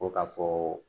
Ko ka fɔ